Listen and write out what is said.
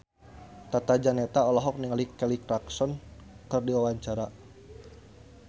Tata Janeta olohok ningali Kelly Clarkson keur diwawancara